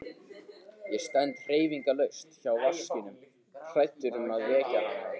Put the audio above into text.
Ég stend hreyfingarlaus hjá vaskinum hræddur um að vekja hana.